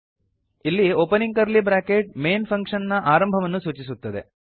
ಇಲ್ಲಿ opening curly bracket main function ನ ಆರಂಭವನ್ನು ಸೂಚಿಸುತ್ತದೆ